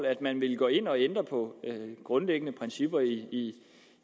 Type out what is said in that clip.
at man ville gå ind og ændre på grundlæggende principper i